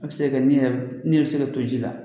A bi se ka kɛ ni yɛrɛ, ni yɛrɛ bi se ka to ji la